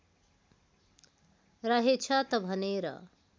रहेछ त भनेर